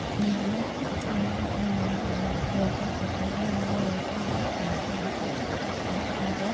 यहां तीन लोग योगा कर रहे हैं। वो योगा मैट करके योगा कर रहे हैं और वो --